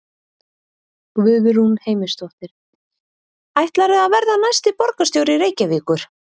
Guðrún Heimisdóttir: Ætlarðu að verða næsti borgarstjóri Reykjavíkur?